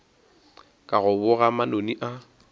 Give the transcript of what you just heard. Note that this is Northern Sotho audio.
ka go boga manoni a